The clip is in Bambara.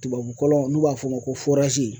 Tubabukɔlɔn n'u b'a fɔ o ma ko